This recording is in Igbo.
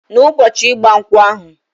Na ụbọchi igba nkwu ahu...